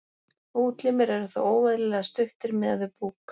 Útlimir eru þá óeðlilega stuttir miðað við búk.